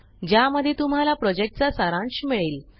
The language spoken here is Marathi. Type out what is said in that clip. ज्यामध्ये तुम्हाला प्रॉजेक्टचा सारांश मिळेल